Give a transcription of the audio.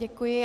Děkuji.